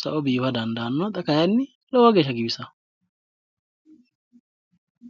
sa"o biifa dandaannona xa kayinni lowo geeshsha giwisawo.